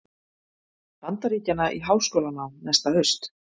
Bandaríkjanna í háskólanám næsta haust.